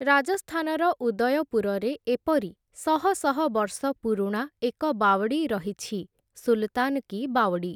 ରାଜସ୍ଥାନର ଉଦୟପୁରରେ ଏପରି ଶହଶହ ବର୍ଷ ପୁରୁଣା ଏକ ବାୱଡ଼ି ରହିଛି ସୁଲତାନ କୀ ବାୱଡ଼ି ।